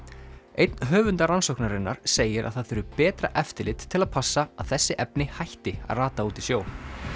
einn höfunda rannsóknarinnar segir að það þurfi betra eftirlit til að passa að þessi efni hætti að rata út í sjó